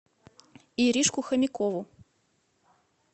иришку хомякову